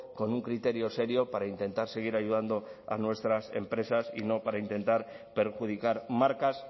con un criterio serio para intentar seguir ayudando a nuestras empresas y no para intentar perjudicar marcas